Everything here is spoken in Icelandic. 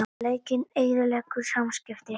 Lekinn eyðileggur samskipti